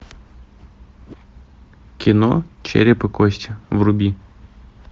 кино череп и кости вруби